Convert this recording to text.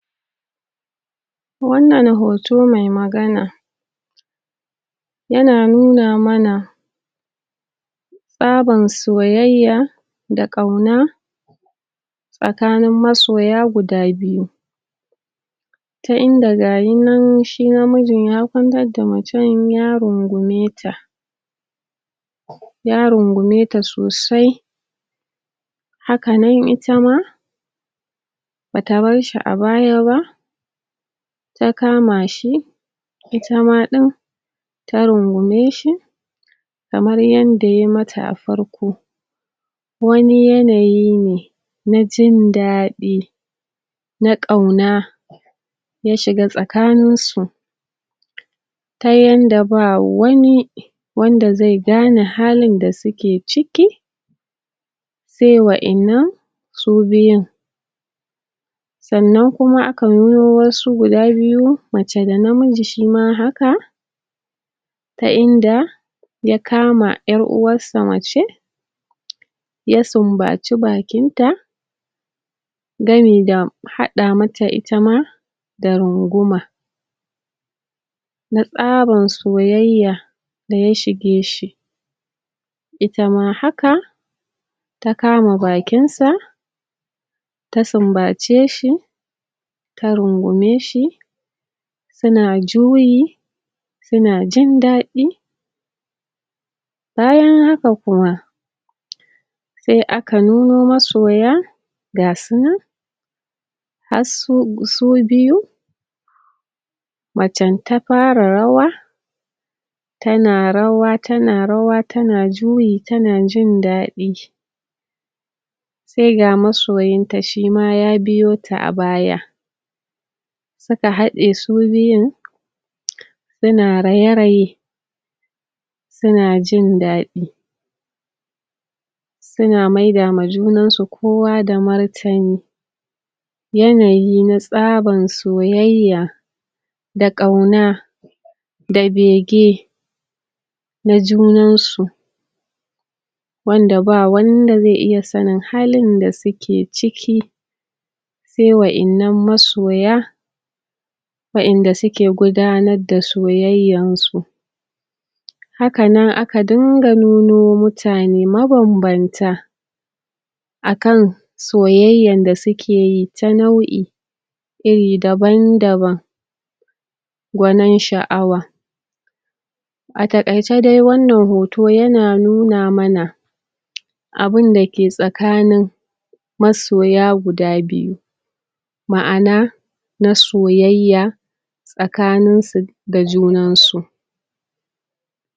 wannan hoto mai magana yana nuna mana tsaban soyayya da kauna tsakanin masoya guda biyu ta inda gayi nan shi na mijin ya kwantar da mace ya rungumeta ya rungumeta sosai haka nan ita ma bata barshi a baya ba ta kama shi ita ma din ta rungumeshi kamar yadda ya mata a farko wani yanayi ne na jin dadi da kauna ya shiga tsakanin su ta yanda ba wani zai gane halin da suke ciki sai wayannan su biyun sannan kuma aka nuno wasu guda biyu mace da na miji shima haka ta inda ya kama yar uwarsa mace ya sunbaci bakinta gami da hada mata ita ma da runguma na tsaban soyayya da ya shige shi itama haka ta kama bakinsa ta sun bace shi ta rungumeshi suna juyi suna jindadi bayan haka kuma sai aka nuno masoya gasu nan harsu biyu macen ta fara rawa tana rawa tana rawa tana juyi tana jin dadi sai ga masoyinta shima ya biyota a baya suka hade su biyun suna raye raye suna jindadi suna maida wa hunansu kowa da martani yanayi na tsaban soyayya da kauna da bege na junansu wanda ba wanda zai iya sanin halin da suke ciki sai wa innan masoya wa inda suke gudanar da soyayyan su haka nan aka dinga nuno mutane maban banta akan soyyayn da soke yi ta nau'in iri daban daban gwanin sha'awa a takaice dai wannan hoto yana nuna mana abunda ke tsakanin masoya guda biyu ma'ana na soyayya tsakanin su da junan su